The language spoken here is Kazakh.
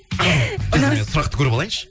қазір мен сұрақты көріп алайыншы